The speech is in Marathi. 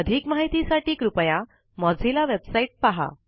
अधिक माहिती साठी कृपया मोझिल्ला वेबसाइट पहा